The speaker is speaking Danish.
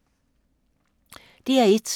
DR1